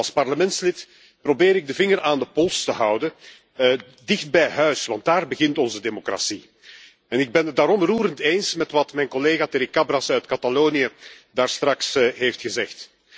Als parlementslid probeer ik de vinger aan de pols te houden dicht bij huis, want daar begint onze democratie. Ik ben het daarom roerend eens met wat mijn collega Terricabras uit Catalonië daarstraks heeft gezegd.